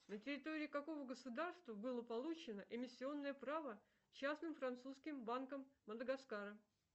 на территории какого государства было получено эмиссионное право частным французским банком мадагаскара